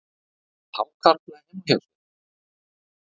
Með hákarla heima hjá sér